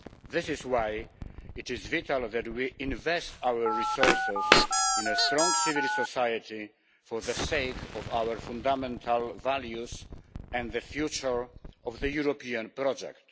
This is why it is vital that we invest our resources in a strong civil society for the sake of our fundamental values and the future of the European project.